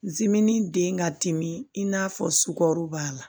den ka timi i n'a fɔ sukaro b'a la